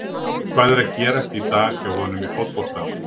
Hvað er að gerast í dag hjá honum í fótboltanum?